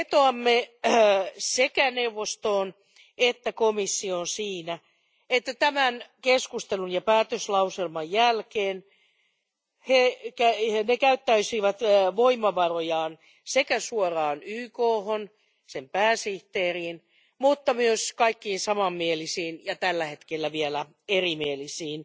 Vetoamme sekä neuvostoon että komissioon, että tämän keskustelun ja päätöslauselman jälkeen ne käyttäisivät voimavarojaan sekä suoraan YKhon, sen pääsihteeriin, mutta myös kaikkiin samanmielisiin ja tällä hetkellä vielä erimielisiin